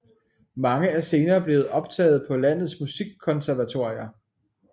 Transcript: Mange er senere blevet optaget på landets musikkonservatorier